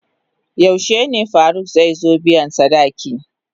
Yaushe ne Faruk zai zo biyan sadaki?